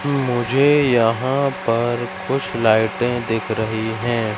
मुझे यहां पर कुछ लाइटें दिख रही हैं।